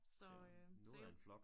Så øh så jo